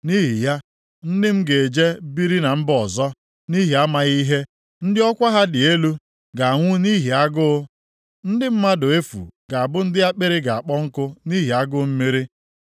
Nʼihi ya, ndị m ga-eje biri na mba ọzọ, nʼihi amaghị ihe; ndị ọkwa ha dị elu ga-anwụ nʼihi agụụ, ndị mmadụ efu ga-abụ ndị akpịrị ga-akpọ nkụ nʼihi agụụ mmiri.